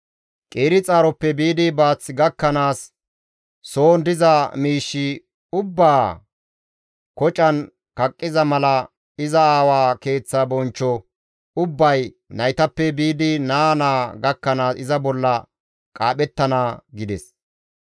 Qeeri xaaroppe biidi baath gakkanaas soon diza miish ubbaa kocan kaqqiza mala iza aawa keeththa bonchcho ubbay naytappe biidi naa naa gakkanaas iza bolla qaaphettana» gides.